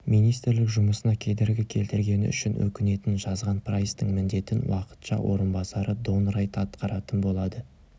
министрлік жұмысына кедергі келтіргені үшін өкінетінін жазған прайстың міндетін уақытша орынбасары дон райт атқаратын болады